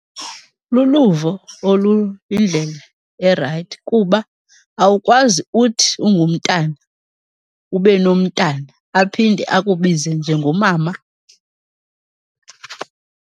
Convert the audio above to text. Luluvo oluyindlela erayithi kuba awukwazi uthi ungumntana ube nomntana aphinde akubize njengomama.